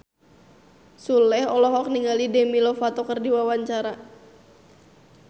Sule olohok ningali Demi Lovato keur diwawancara